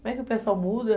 Como é que o pessoal muda?